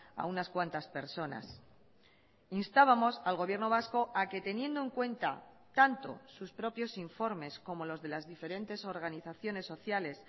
a unas cuantas personas instábamos al gobierno vasco a que teniendo en cuenta tanto sus propios informes como los de las diferentes organizaciones sociales